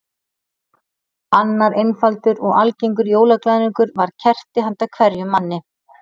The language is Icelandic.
Annar einfaldur og algengur jólaglaðningur var kerti handa hverjum manni.